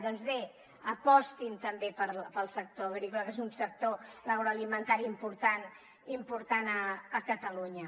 doncs bé apostin també pel sector agrícola que és un sector l’agroalimentari important a catalunya